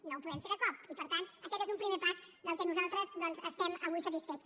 no ho podem fer de cop i per tant aquest és un primer pas del que nosaltres doncs estem avui satisfets